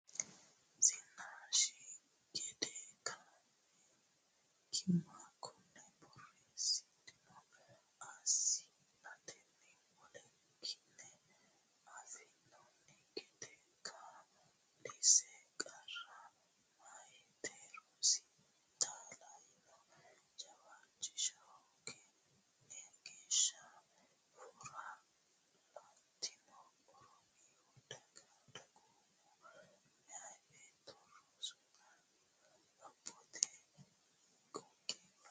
Zinnaashi gede kaima konni borreessidhanno assi nanniti wole ki ne affinoonni gede kaa linsa Qarra Meyate rosi taalleenya jawaachisha hooga nni geeshsha Furra Ilantinohu Oromiyu Dagoomu meya beetto Rosunna Lophote Qoqqowira.